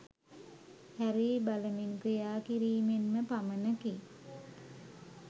හැරී බලමින් ක්‍රියාකිරීමෙන්ම පමණකි.